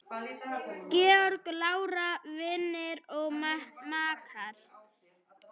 Georg, Lára, Vignir og makar.